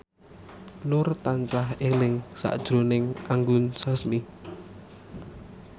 Nur tansah eling sakjroning Anggun Sasmi